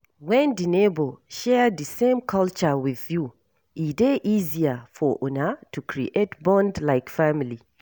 When di neighbour share di same culture with you, e dey easier for una to create bond like family